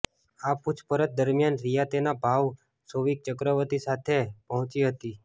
આ પૂછપરછ દરમિયાન રિયા તેના ભાઈ શૌવિક ચક્રવર્તી સાથે પહોંચી હતી